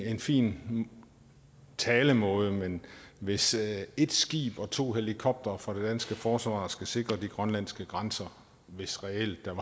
en fin talemåde men hvis et skib og to helikoptere fra det danske forsvar skal sikre de grønlandske grænser hvis reelt der